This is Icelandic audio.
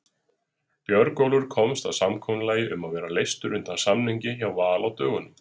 Björgólfur komst að samkomulagi um að vera leystur undan samningi hjá Val á dögunum.